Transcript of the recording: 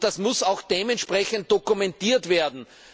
Das muss auch dementsprechend dokumentiert werden.